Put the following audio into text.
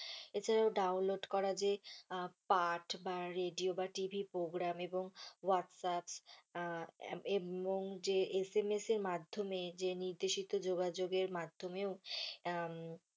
এছাড়াও download করা যে পার্ট বা রেডিও বা TV program এবং হোয়াটস আপ এবং যে SMS এর মাধ্যমে যে নির্দেশিত যোগাযোগের মাধ্যমে,